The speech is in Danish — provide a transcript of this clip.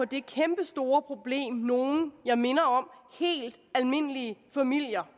det kæmpestore problem nogle helt almindelige familier